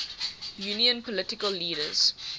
union political leaders